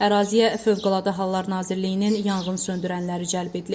Əraziyə Fövqəladə Hallar Nazirliyinin yanğınsöndürənləri cəlb edilib.